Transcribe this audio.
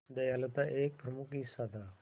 दयालुता एक प्रमुख हिस्सा था